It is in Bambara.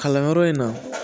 Kalanyɔrɔ in na